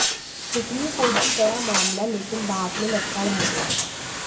supreme court भी गया मामला लेकिन बाद में लटका रह गया